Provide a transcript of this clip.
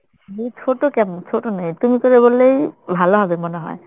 ধুর ছোট কেন? ছোট নেই। তুমি করে বললেই ভালো হবে মনে হয়